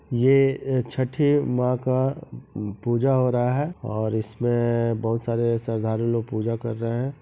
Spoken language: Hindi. ये अ छठी माँ का पूजा हो रहा है और इसमें बहुत सारे श्रद्धालु लोग पूजा कर रहे है।